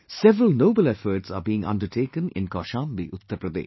Several noble efforts are being undertaken in Kaushambi, Uttar Pradesh